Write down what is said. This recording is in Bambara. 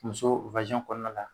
Muso kɔnɔna la